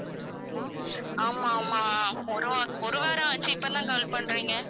ஆமாம் ஆமாம் ஒரு வா~ ஒரு வாரம் ஆச்சு இப்பதான் call பண்றீங்க